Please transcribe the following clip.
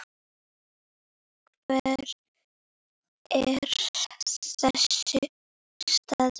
Hver er þessi staður?